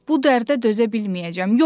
Bu dərdə dözə bilməyəcəm.